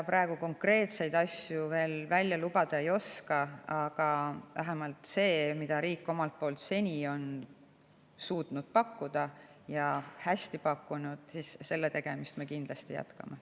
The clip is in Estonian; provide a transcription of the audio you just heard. Praegu konkreetseid asju veel lubada ei oska, aga vähemalt sellega, mida riik seni on suutnud pakkuda ja on hästi pakkunud, me kindlasti jätkame.